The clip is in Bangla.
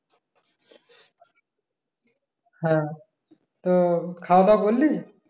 হ্যাঁ, তো খাওয়া-দাওয়া করলি?